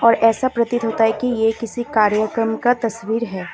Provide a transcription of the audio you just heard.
ऐसा प्रतीत होता है कि ये किसी कार्यक्रम का तस्वीर है।